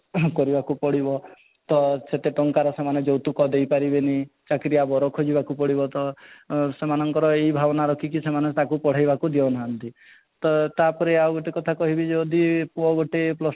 କରିବାକୁ ପଡିବ ତ ସେତେ ଟଙ୍କାର ସେ ଯୌତୁକ ଦେଇ ପାରିବେନି ଚାକିରିଆ ବର ଖୋଜିବାକୁ ପଡିବ ତ ଆଁ ସେମାନଙ୍କର ଏଇ ଭାବନା ରଖିକିରି ସେମାନେ ତାକୁ ପଢ଼େଇ ବାକୁ ଦେଉ ନାହାନ୍ତି ତ ତା'ପରେ ଆଉ ଗୋଟେ କଥା କହିବି ଯଦି ପୁଅ ଗୋଟେ plus two